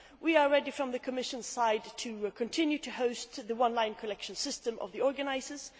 We are ready, for the Commission's part, to continue to host the online collection system of the organisers.